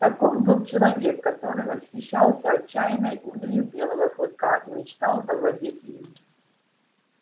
таков был человек который восхищался отчаянной удалью белого клыка и мечтал завладеть им